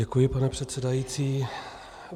Děkuji, pane předsedající.